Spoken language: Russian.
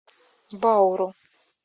бауру